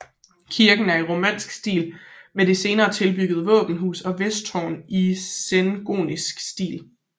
Kirken er i romansk stil men med senere tilbyggede våbenhus og vesttårn i sengotisk stil